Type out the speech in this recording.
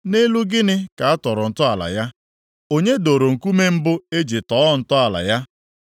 Nʼelu gịnị ka a tọrọ ntọala ya, onye doro nkume mbụ e ji tọọ ntọala ya?